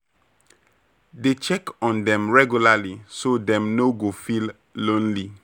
Always show respect and patience when you dey deal with elders